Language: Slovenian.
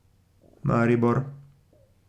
Maribor.